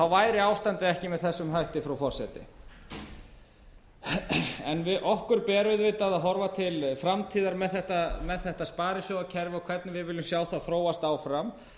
væri ástandið ekki með þessum hætti frú forseti okkur ber auðvitað að horfa til framtíðar með þetta sparisjóðakerfi og hvernig við viljum sjá það þróast áfram